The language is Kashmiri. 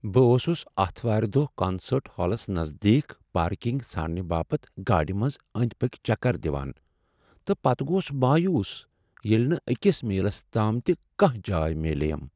بہٕ اوسس اتھوار دۄہ کانسٲرٹ ہالس نزدیک پارکنگ ژھانڈنہٕ باپت گاڑِ منٛز انٛدۍ پکۍ چکر دوان تہٕ پتہ گوس مایوس ییٚلہ نہٕ أکس میلس تام تہ کانٛہہ جاے میلے یم۔